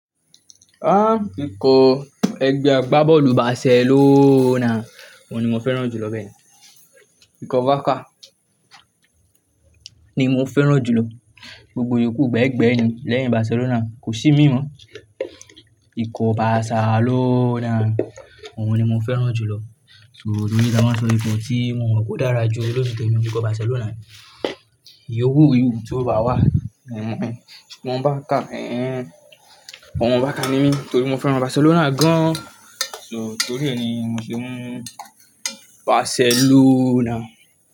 Ah! Ikọ̀ ẹgbẹ́ agbábọ́ọ̀lù Barcelona òun ni mo fẹ́ràn jù lọ bẹ́ẹ̀ni. Ikọ̀ Barca ni mo fẹ́ràn jù lọ. Gbogbo ìyókù gbẹ́ẹ̀gbẹ́ẹ̀ ni lẹ́yìn Barcelona kò sí imín mọ. Ikọ̀ Barcelona òun ni mo fẹ́ràn jù lọ. So torí pé a máa sọ ikọ̀ tí mo mọ̀ kó dára jù ọ lójú tèmi o ní ikọ̀ Barcelona yìí. Iyòwúù iyòwúù tó bá wà, òun ẹ. Ọ̀nà Barca, ẹẹ́. Omo Barca ni mí torí mo fẹ́ràn Barcelona gan. So torí ẹni mo sì mú Barcelona.